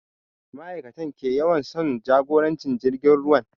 Ma'aikatan kewayawan sun jagoranci jiragen ruwan